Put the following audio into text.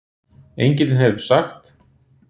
Engillinn hefur sagt